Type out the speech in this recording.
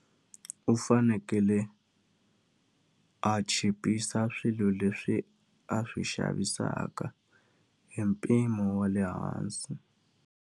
U fanekele a chipisa swilo leswi a swi xavisaka hi mpimo wa le hansi.